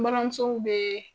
N balimanmusow be